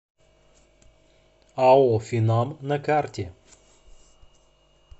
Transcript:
ао финам на карте